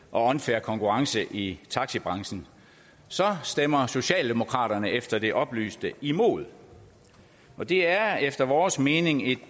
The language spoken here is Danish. og unfair konkurrence i taxibranchen stemmer socialdemokraterne efter det oplyste imod det er efter vores mening et